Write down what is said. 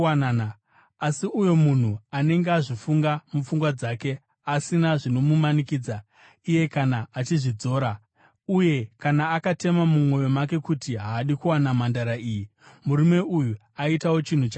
Asi uyo munhu anenge azvifunga mupfungwa dzake, asina zvinomumanikidza iye kana achizvidzora, uye kana akatema mumwoyo make kuti haadi kuwana mhandara iyi, murume uyu aitawo chinhu chakanaka.